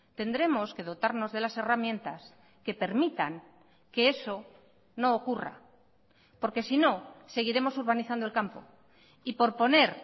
tendremos que dotarnos de las herramientas que permitan que eso no ocurra porque si no seguiremos urbanizando el campo y por poner